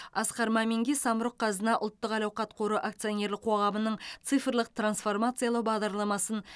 асқар маминге самұрық қазына ұлттық әл ауқат қоры акционерлік қоғамының цифрлық трансформациялау бағдарламасын